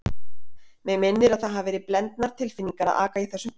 Mig minnir að það hafi verið blendnar tilfinningar að aka í þessum bíl.